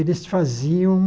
Eles faziam...